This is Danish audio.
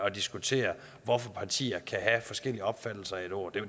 at diskutere hvorfor partierne kan have forskellige opfattelser af et ord